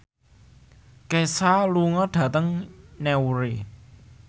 Kesha lunga dhateng Newry